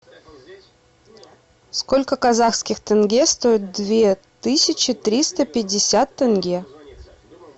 сколько казахских тенге стоит две тысячи триста пятьдесят тенге